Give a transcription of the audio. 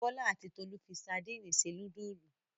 Bọ́lá àti Tolú fi sadínì se núdúlù.